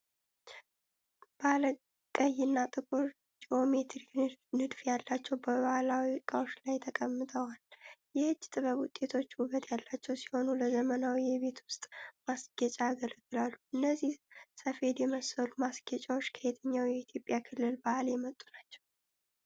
ባለ ቀይና ጥቁር ጂኦሜትሪክ ንድፍ ያላቸው በባሕላዊ ዕቃዎች ላይ ተቀምጠዋል። የእጅ ጥበብ ውጤቶቹ ውበት ያላቸው ሲሆኑ፣ ለዘመናዊ የቤት ውስጥ ማስጌጫ ያገለግላሉ። እነዚህ ሰፌድ የመሰሉ ማስጌጫዎች ከየትኛው የኢትዮጵያ ክልል ባህል የመጡ ናቸው?